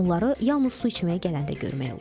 Onları yalnız su içməyə gələndə görmək olur.